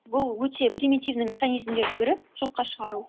бұл өте примитивный механизмдердің бірі жоққа шығару